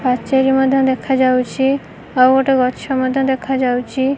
ପାଚେରୀ ମଧ୍ୟ ଦେଖା ଯାଉଛି। ଆଉ ଗୋଟେ ଗଛ ମଧ୍ୟ ଦେଖା ଯାଉଚି।